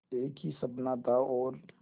एक ही सपना था और